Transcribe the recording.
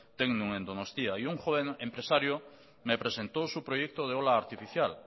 tecnun en donostia y un joven empresario me presentó su proyecto de ola artificial